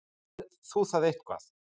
Skoðaðir þú það eitthvað?